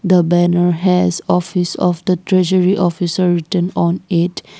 the banner has office of the treasury officer written on it.